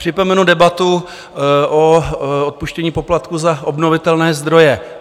Připomenu debatu o odpuštění poplatků za obnovitelné zdroje.